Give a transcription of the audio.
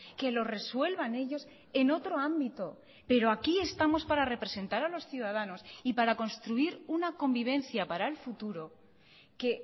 que lo resuelvan ellos en otro ámbito pero aquí estamos para representar a los ciudadanos y para construir una convivencia para el futuro que